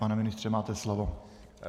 Pane ministře, máte slovo.